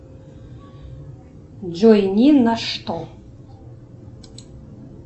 джой ни на что